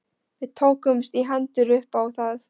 Við tókumst í hendur upp á það.